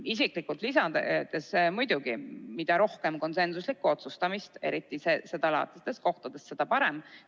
Isiklikult lisan veel, et muidugi, mida rohkem konsensuslikku otsustamist, eriti seda laadi kohtades, seda parem.